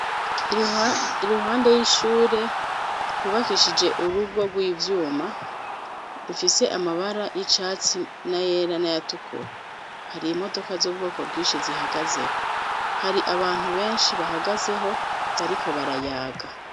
Iruhande y'ishure hubakishije urugo rw'ivyuma rufise amabara y'icatsi n'ayera n'ayatukura hari imodoka z'ubwoko bwinshi zihagazeho hari abantu benshi bahagazeho bariko barayaga.